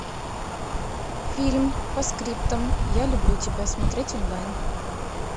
фильм постскриптум я люблю тебя смотреть онлайн